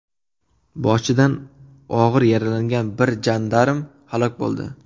Boshidan og‘ir yaralangan bir jandarm halok bo‘ldi.